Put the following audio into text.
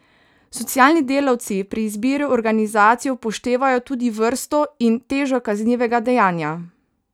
Socialni delavci pri izbiri organizacije upoštevajo tudi vrsto in težo kaznivega dejanja.